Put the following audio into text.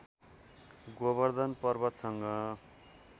Govardhan पर्वतसँग